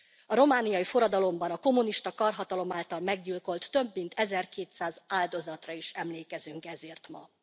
A romániai forradalomban a kommunista karhatalom által meggyilkolt, több mint ezerkétszáz áldozatra is emlékezünk ezért ma.